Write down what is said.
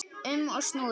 um og snúrum.